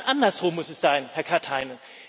Nein, andersrum muss es sein, Herr Katainen.